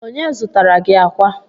Onye zụtara gi akwa?